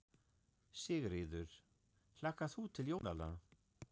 Sigríður: Hlakkar þú til jólanna?